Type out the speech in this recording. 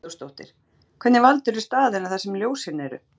Hugrún Halldórsdóttir: Hvernig valdirðu staðina þar sem ljósin eru?